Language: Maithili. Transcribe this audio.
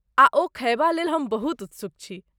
आ ओ खयबा लेल हम बहुत उत्सुक छी।